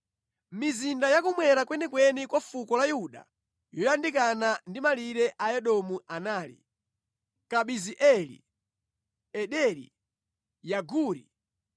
Mizinda yakummwera kwenikweni kwa fuko la Yuda yoyandikana ndi malire a Edomu anali: Kabizeeli, Ederi, Yaguri